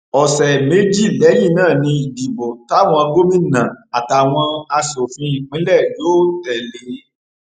ọsẹ méjì lẹyìn náà ni ìdìbò táwọn gómìnà àtàwọn aṣòfin ìpínlẹ yóò tẹ lé e